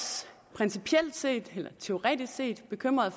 principielt set eller teoretisk set bekymrede